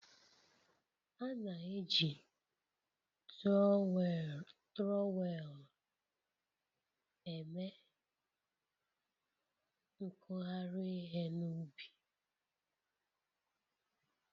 A na-eji turowelu eme nkuyari ihe na ubi